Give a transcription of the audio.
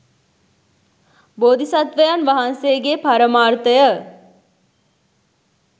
බෝධි සත්වයන් වහන්සේගේ පරමාර්ථය